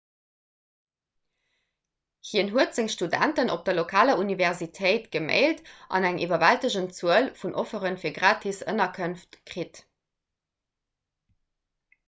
hien huet senge studenten op der lokaler universitéit gemailt an eng iwwerwältegend zuel vun offere fir gratis ënnerkënft kritt